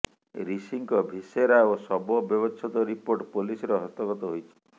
ରିଷିଙ୍କ viscera ଓ ଶବ ବ୍ୟବଛେଦ ରିପୋର୍ଟ ପୋଲିସର ହସ୍ତଗତ ହୋଇଛି